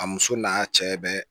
A muso n'a cɛ bɛ